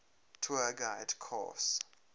tour guide course